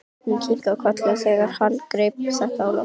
Hún kinkaði kolli þegar hann greip þetta á lofti.